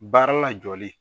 Baara lajɔli